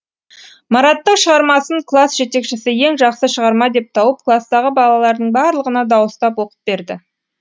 мараттың шығармасын класс жетекшісі ең жақсы шығарма деп тауып кластағы балалардың барлығына дауыстап оқып берді